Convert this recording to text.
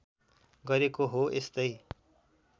गरेको हो यस्तै